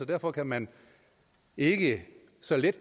derfor kan man ikke så let